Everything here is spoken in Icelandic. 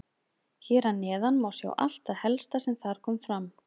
Hér að neðan má sjá allt það helsta sem þar kom fram.